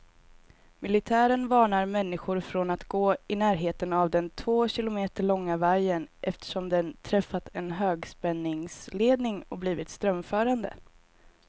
Militären varnar människor från att gå i närheten av den två kilometer långa vajern, eftersom den träffat en högspänningsledning och blivit strömförande.